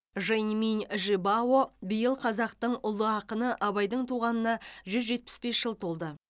жэньминь жибао биыл қазақтың ұлы ақыны абайдың туғанына жүз жетпіс бес жыл толды